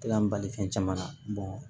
An bali fɛn caman na